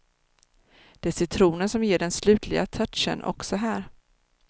Det är citronen som ger den slutliga touchen också här.